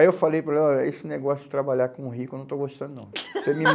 Aí eu falei para ele ó, esse negócio de trabalhar com rico eu não estou gostando, não.